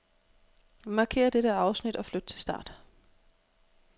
Markér dette afsnit og flyt til start.